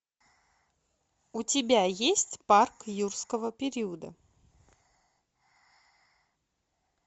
у тебя есть парк юрского периода